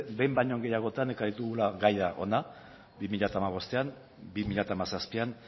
behin baino gehiagotan ekarri dugula gaia hona bi mila hamabostean bi mila hamazazpian